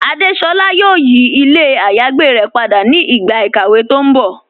Adésolá yóò yí ilẹ̀ àyágbé rẹ̀ pada ni ìgba ikàwé tó n bọ́.